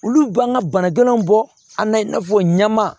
Olu b'an ka bana gɛnnw bɔ a la i n'a fɔ ɲaman